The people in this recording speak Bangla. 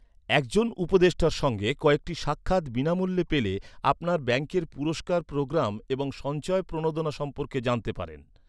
একজন উপদেষ্টার সঙ্গে কয়েকটি সাক্ষাৎ বিনামূল্যে পেলে, আপনার ব্যাঙ্কের পুরস্কার প্রোগ্রাম এবং সঞ্চয় প্রণোদনা সম্পর্কে জানতে পারেন।